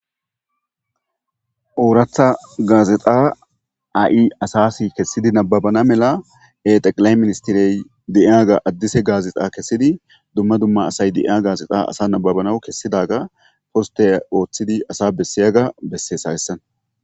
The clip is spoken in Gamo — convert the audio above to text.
ooratha gaazexa asasi kessidi nababana mela exeqilay ministirey de7iya ga addise gaazexa kessidi dumma dumma asay deia gaazexa asa nababanaw kessidaga posteya ooththidi asa bessiyaga bessees hawessan